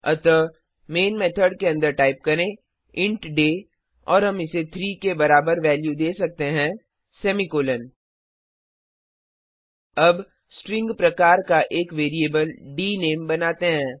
अतः main method के अन्दर टाइप करें इंट डे और हम इसे 3 के बराबर वैल्यू दे सकते हैं सेमीकॉलन अब स्ट्रिंग प्रकार का एक वैरिएबल डीनेम बनाते हैं